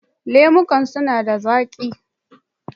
Lemukan suna da zaƙi